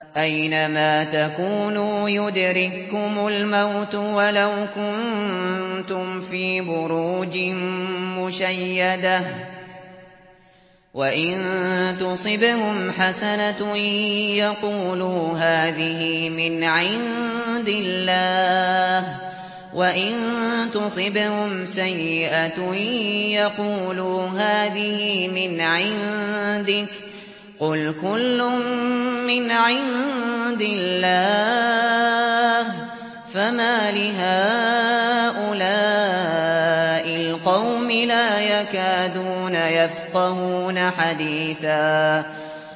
أَيْنَمَا تَكُونُوا يُدْرِككُّمُ الْمَوْتُ وَلَوْ كُنتُمْ فِي بُرُوجٍ مُّشَيَّدَةٍ ۗ وَإِن تُصِبْهُمْ حَسَنَةٌ يَقُولُوا هَٰذِهِ مِنْ عِندِ اللَّهِ ۖ وَإِن تُصِبْهُمْ سَيِّئَةٌ يَقُولُوا هَٰذِهِ مِنْ عِندِكَ ۚ قُلْ كُلٌّ مِّنْ عِندِ اللَّهِ ۖ فَمَالِ هَٰؤُلَاءِ الْقَوْمِ لَا يَكَادُونَ يَفْقَهُونَ حَدِيثًا